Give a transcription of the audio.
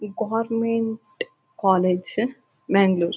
ಈ government college Mangaluru.